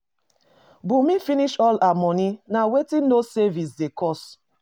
Bunmi finish all her money, na wetin no saving dey cause.